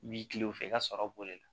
I b'i kilen u fɛ i ka sɔrɔ b'o de la